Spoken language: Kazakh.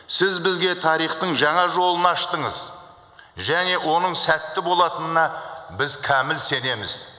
сіз бізге тарихтың жаңа жолын аштыңыз және оның сәтті болатынына біз кәміл сенеміз